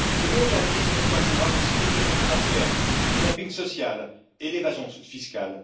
Ce mondialisme encourage la spéculation financière, le dumping social et l'évasion fiscale.